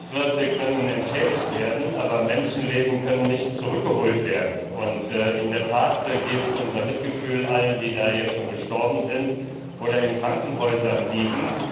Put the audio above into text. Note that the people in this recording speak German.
Landwirte können entschädigt werden, aber Menschenleben können nicht zurückgeholt werden. In der Tat gilt unser Mitgefühl allen, die gestorben sind oder in Krankenhäusern liegen.